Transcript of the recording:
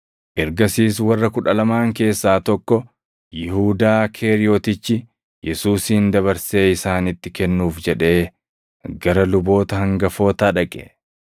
Ergasiis warra Kudha Lamaan keessaa tokko, Yihuudaa Keeriyotichi, Yesuusin dabarsee isaanitti kennuuf jedhee gara luboota hangafootaa dhaqe.